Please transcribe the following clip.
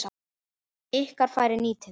Ykkar færi nýtið.